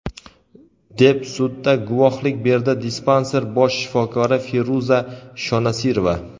deb sudda guvohlik berdi dispanser bosh shifokori Feruza Shonasirova.